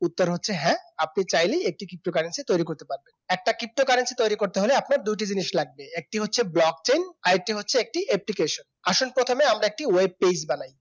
উত্তর হচ্ছে হ্যাঁ আপনি চাইলেই একটি ptocurrency তৈরি করতে পারবেন একটা ptocurrency তৈরি করতে হলে আপনার দুইটা জিনিস লাগবে একটি হচ্ছে blog chain আর একটা হচ্ছে application আসন আমরা প্রথমে একটি webpage বানাই